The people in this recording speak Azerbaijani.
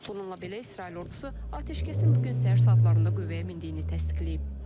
Bununla belə İsrail ordusu atəşkəsin bu gün səhər saatlarında qüvvəyə mindiyini təsdiqləyib.